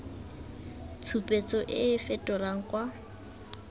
tshupetso e e fetelang kwa